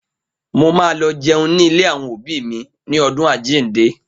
Mo ma lọ jẹun ní ilé àwọn òbí mi ní ọdún Àjíǹde